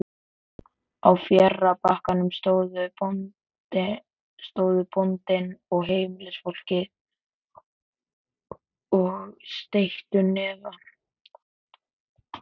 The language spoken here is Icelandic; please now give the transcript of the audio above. Á fjarri bakkanum stóðu bóndinn og heimilisfólkið og steyttu hnefa.